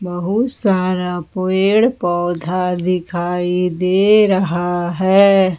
बहुत सारा पेड़ पौधा दिखाई दे रहा है।